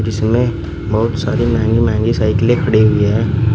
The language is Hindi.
इसमें बहुत सारी महंगी महंगी साइकिले खड़ी हुई है।